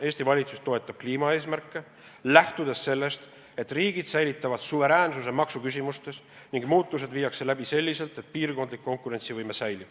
Eesti valitsus toetab kliimaeesmärke, lähtudes sellest, et riigid säilitavad suveräänsuse maksuküsimustes ning muutused viiakse läbi selliselt, et piirkondlik konkurentsivõime säilib.